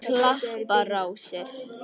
Klapparási